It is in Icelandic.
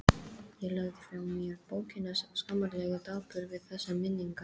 Ég lagði frá mér bókina, skammarlega dapur við þessar minningar.